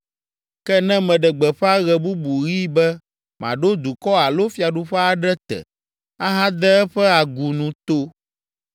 Ke ne meɖe gbeƒã ɣe bubu ɣi be maɖo dukɔ alo fiaɖuƒe aɖe te, ahade eƒe agunu to